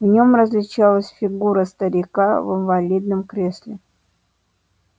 в нем различалась фигура старика в инвалидном кресле